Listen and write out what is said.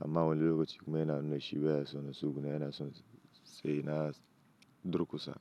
Amma wani lokaci kuma yana nuna shi baya so na tsugunna yana so sai na durkusa.